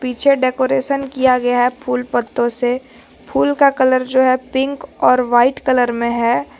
पीछे डेकोरेशन किया गया है फूल पत्तों से फूल का कलर जो है पिंक और वाइट कलर में है।